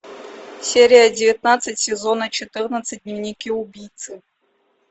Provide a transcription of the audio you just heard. серия девятнадцать сезона четырнадцать дневники убийцы